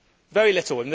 Very little.